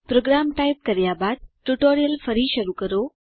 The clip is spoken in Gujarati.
પ્રોગ્રામ ટાઈપ કર્યા બાદ ટ્યુટોરીયલ ફરી શરૂ કરો